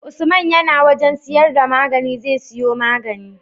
Usman yAna wajan siyar da magani zai siyo magani